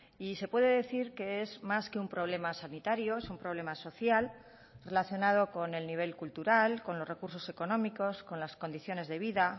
y se puede decir que es más que un problema sanitario es un problema social relacionado con el nivel cultural con los recursos económicos con las condiciones de vida